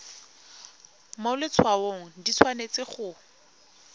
mo letshwaong di tshwanetse go